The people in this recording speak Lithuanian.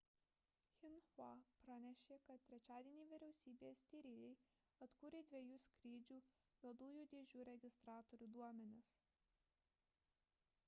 xinhua pranešė kad trečiadienį vyriausybės tyrėjai atkūrė dviejų skrydžių juodųjų dėžių registratorių duomenis